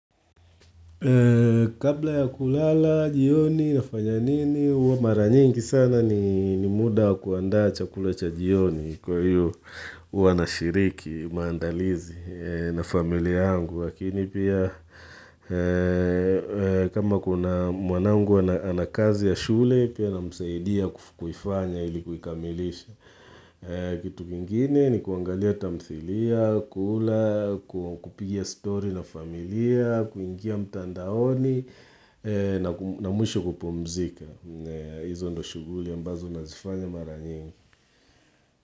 Kabla ya kulala, jioni nafanya nini, huwa maranyingi sana ni muda kuandaa chakula cha jioni kwa hiyo huwa nashiriki maandalizi na familia yangu. Lakini pia kama kuna mwanangu ana kazi ya shule, pia namsaidia kuifanya ili kuikamilisha. Kitu kingine ni kuangalia tamthilia, kula, kupigia story na familia, kuingia mtandaoni na mwisho kupumzika. Hizo ndo shuguli ambazo nazifanya maranyingi.